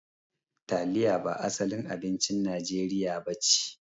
Taliya ba asalin abincin najeriya nace.